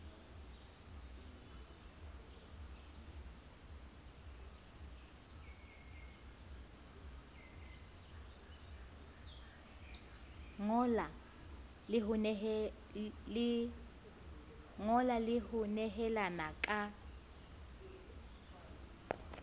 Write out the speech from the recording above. ngola le ho nehelana ka